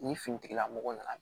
Ni fini tigilamɔgɔ nana